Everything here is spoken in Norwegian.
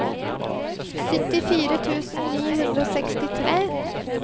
syttifire tusen ni hundre og sekstitre